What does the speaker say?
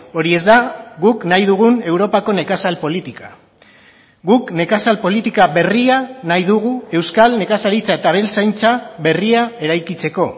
hori ez da guk nahi dugun europako nekazal politika guk nekazal politika berria nahi dugu euskal nekazaritza eta abeltzaintza berria eraikitzeko